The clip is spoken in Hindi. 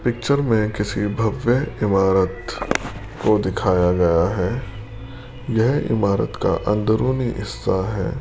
पिक्चर में किसी भव्य इमारत को दिखाया गया है यह इमारत का अंदरूनी हिस्सा है।